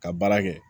Ka baara kɛ